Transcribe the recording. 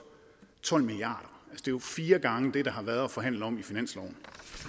tolv milliard jo fire gange det der har været at forhandle om i finansloven